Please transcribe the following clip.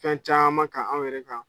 Fɛn caman kan anw yɛrɛ kan.